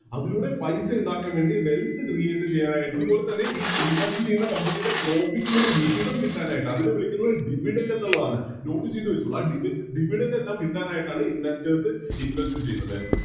അതിലൂടെ പൈസ ഉണ്ടാക്കാൻ വേണ്ടി Wealth create ചെയ്യാനായിട്ട് അതുപോലെതന്നെ ഈ Invest ചെയ്യുന്ന Company യുടെ Profit ലേക്ക് വിഹിതം കിട്ടാനായിട്ട് അതിനെ വിളിക്കുന്നത് Dividend എന്നുള്ളതാണ് Note ചെയ്ത വെച്ചോളൂ ആ ഡി Dividend എല്ലാം കിട്ടാനായിട്ടാണ് Investors invest ചെയ്യുന്നത്